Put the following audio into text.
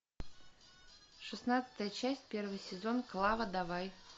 шестнадцатая часть первый сезон клава давай